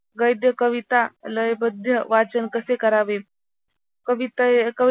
गद्य कविता लयबद्ध वाचन कसे करावे कविता